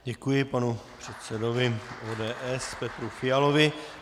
Děkuji panu předsedovi ODS Petru Fialovi.